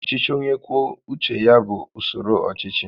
Ọchịchị onye kwuo uche ya bụ usoro ọchịchị